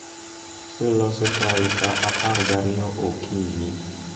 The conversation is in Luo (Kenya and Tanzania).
loso chai sa apar gariyo okinyi